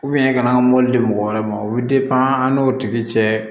ka na mobili mɔgɔ wɛrɛ ma o bɛ an n'o tigi cɛ